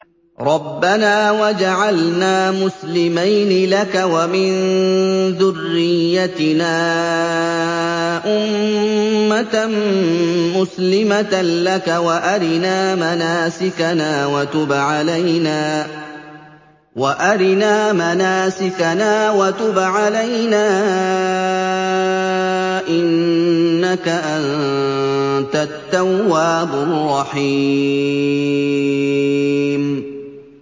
رَبَّنَا وَاجْعَلْنَا مُسْلِمَيْنِ لَكَ وَمِن ذُرِّيَّتِنَا أُمَّةً مُّسْلِمَةً لَّكَ وَأَرِنَا مَنَاسِكَنَا وَتُبْ عَلَيْنَا ۖ إِنَّكَ أَنتَ التَّوَّابُ الرَّحِيمُ